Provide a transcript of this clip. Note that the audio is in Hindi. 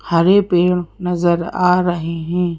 हरे पेड़ नजर आ रहे हैं।